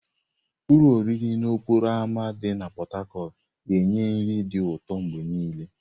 Ụlọ nri n'okporo ámá dị na Pot Tarcot ga-enye nri dị ụtọ mgbe niile.